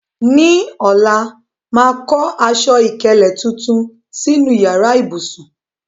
Ní ọ̀la, màá kọ́ aṣọ ìkélé tuntun sínú yàrá ìbùsùn.